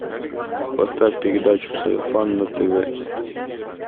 поставь передачу сарафан на тв